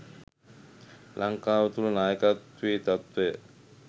ලංකාව තුළ නායකත්වයේ තත්ත්වය